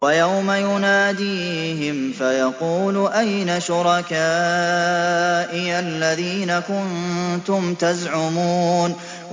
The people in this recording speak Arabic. وَيَوْمَ يُنَادِيهِمْ فَيَقُولُ أَيْنَ شُرَكَائِيَ الَّذِينَ كُنتُمْ تَزْعُمُونَ